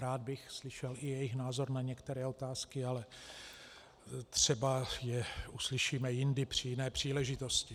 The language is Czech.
Rád bych slyšel i jejich názor na některé otázky, ale třeba je uslyšíme jindy při jiné příležitosti.